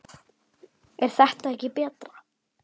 er þetta ekki betra?